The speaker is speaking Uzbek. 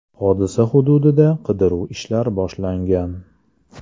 Hodisa hududida qidiruv ishlari boshlangan.